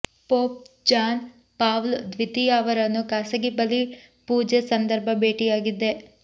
pop John Paul ದ್ವಿತೀಯ ಅವರನ್ನು ಖಾಸಗಿ ಬಲಿಪೂಜೆ ಸಂದರ್ಭ ಭೇಟಿಯಾಗಿದ್ದೆ